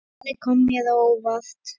Svarið kom mér á óvart.